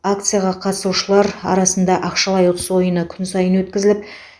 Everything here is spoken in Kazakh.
акцияға қатысушылар арасында ақшалай ұтыс ойыны күн сайын өткізіліп